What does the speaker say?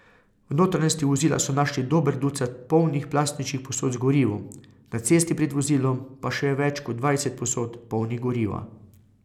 V notranjosti vozila so našli dober ducat polnih plastičnih posod z gorivom, na cesti pred vozilom pa še več kot dvajset posod, polnih goriva.